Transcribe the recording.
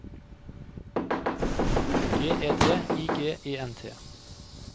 G E D I G E N T